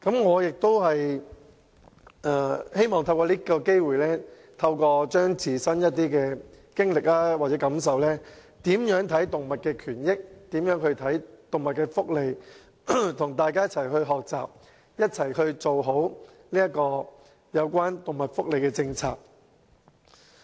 我希望透過這個機會，與大家分享我的一些自身經歷或感受，說說我對動物權益及福利的看法，並與大家一起學習，一起做好有關動物福利的政策。